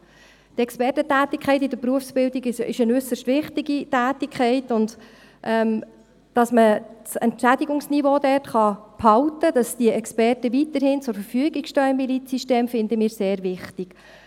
Die Expertentätigkeit in der Berufsbildung ist eine äusserst wichtige Tätigkeit, und das Entschädigungsniveau halten zu können, damit die Experten weiterhin im Milizsystem zur Verfügung stehen, finden wir sehr wichtig.